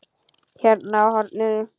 Hérna á hornið.